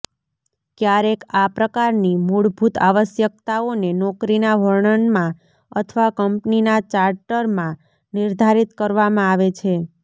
ક્યારેક આ પ્રકારની મૂળભૂત આવશ્યકતાઓને નોકરીના વર્ણનમાં અથવા કંપનીના ચાર્ટરમાં નિર્ધારિત કરવામાં આવે છે